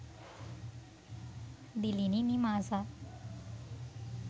dilini nimasa